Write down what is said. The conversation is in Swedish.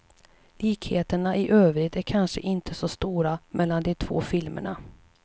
Likheterna i övrigt är kanske inte så stora mellan de två filmerna.